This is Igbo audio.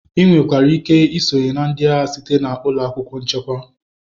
Ị nwekwara ike isonyere ndị agha site na ụlọ akwụkwọ nchekwa.